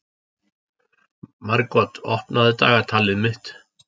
Margot, opnaðu dagatalið mitt.